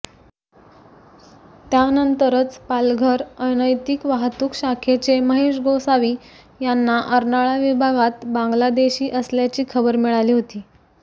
त्यानंतरच पालघर अनैतिक वाहतूक शाखेचे महेश गोसावी यांना अर्नाळा विभागात बांगलादेशी असल्याची खबर मिळाली होती